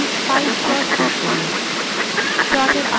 তথ্যর একটি pie chart যোগ করুন